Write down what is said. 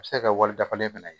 A bɛ se ka kɛ wali dafalen fana ye